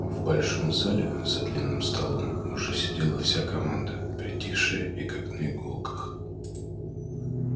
в большом зале за длинным столом уже сидела вся команда притихшая и как на иголках